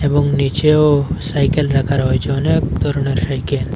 এবং নীচেও সাইকেল রাখা রয়েছে অনেক ধরনের সাইকেল ।